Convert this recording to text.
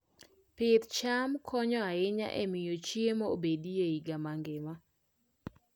Pidh cham konyo ahinya e miyo chiemo obedie e higa mangima.